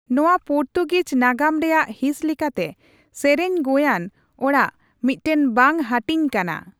ᱱᱚᱣᱟ ᱯᱩᱨᱛᱩᱜᱤᱡ ᱱᱟᱜᱟᱢ ᱨᱮᱭᱟᱜ ᱦᱤᱸᱥ ᱞᱮᱠᱟᱛᱮ, ᱥᱮᱨᱮᱧ ᱜᱳᱭᱟᱱ ᱚᱲᱟᱜ ᱢᱤᱫᱴᱟᱝ ᱵᱟᱝ ᱦᱟᱹᱴᱤᱧ ᱠᱟᱱᱟ ᱾